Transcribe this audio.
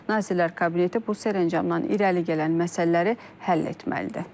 Nazirlər Kabineti bu sərəncamdan irəli gələn məsələləri həll etməlidir.